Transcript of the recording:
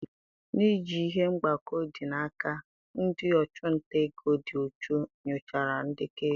N'iji ihe mgbakọ dị n'aka, ndị ọchụnta ego dị uchu nyochara ndekọ ego.